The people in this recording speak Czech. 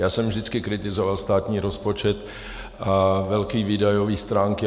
Já jsem vždycky kritizoval státní rozpočet a velké výdajové stránky.